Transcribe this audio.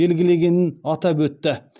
белгілегенін атап өтті